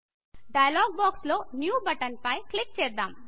dialogue box లో new button పై click చేద్దాం